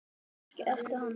Kannski ertu hann?